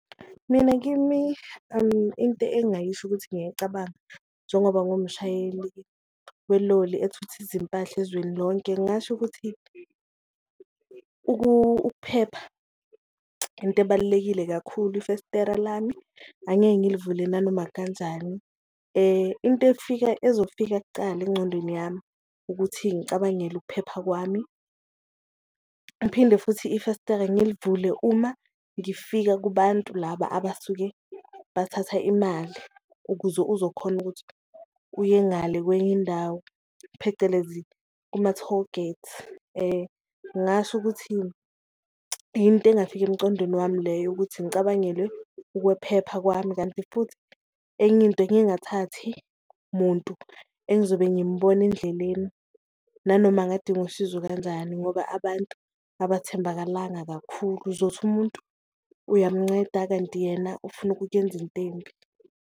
Mina kimi into engayisho ukuthi ngiyayicabanga njengoba ngumshayeli weloli ethutha izimpahla ezweni lonke, ngingasho ukuthi ukuphepha into ebalulekile kakhulu, ifestera lami angeke ngilivule nanoma kanjani. Into efika ezofika kucala engcondweni yami ukuthi ngicabangele ukuphepha kwami, ngiphinde futhi ifestera ngilivule uma ngifika kubantu laba abasuke bathatha imali ukuze uzokhona ukuthi uye ngale kwenye indawo, phecelezi kuma-tollgate. Ngasho ukuthi into engingafika emcondweni wami leyo ukuthi ngicabangele ukwephepha kwami, kanti futhi enye into ngingathathi muntu engizobe ngimubona endleleni nanoma angadinga usizo kanjani ngoba abantu abathembakalanga kakhulu. Uzothi umuntu uyamunceda kanti yena ufuna ukukuyenza into embi.